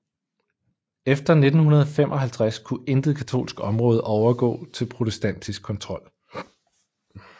Efter 1555 kunne intet katolsk område overgå til protestantisk kontrol